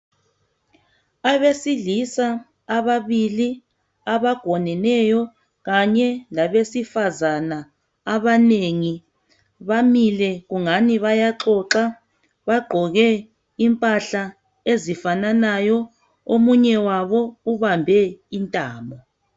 Abesilisa ababili abagoneneyo Kanye labesifazana abanengi bamile kungabi bayaxoxa bagqoke impahla ezifananayo omunye wabo ubambe intamo.